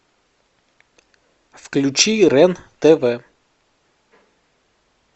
включи рен тв